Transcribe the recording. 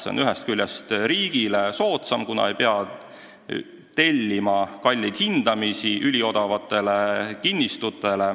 See on ühest küljest riigile soodsam, kuna ei pea tellima üliodavate kinnistute kalleid hindamisi.